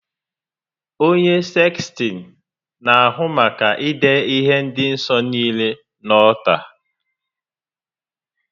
Onye sekstịn na-ahụ maka idiihe dị nsọ niile na ọlta